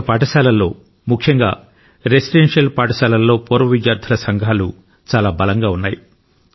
అనేక పాఠశాలల్లో ముఖ్యంగా రెసిడెన్షియల్ పాఠశాలల్లో పూర్వ విద్యార్థుల సంఘాలు చాలా బలంగా ఉన్నాయి